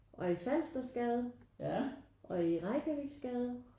Og i Falstersgade og i Reykjaviksgade